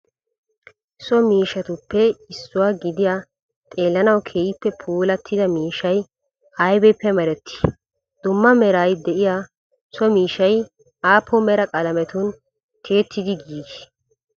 So miishshatuppe issuwa giddiya xeellanawu keehippe puulatida miishshay aybippe mereeti? dumma meraara de'iya so miishshay appun meraa qaalametun tiyetidi giggi uttide?